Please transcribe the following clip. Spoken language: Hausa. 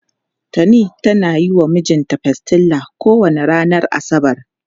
Tani tana yi wa mijinta pastilla kowane ranar asabar.